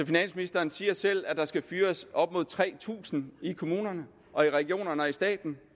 finansministeren siger selv at der skal fyres op mod tre tusind i kommunerne og i regionerne og i staten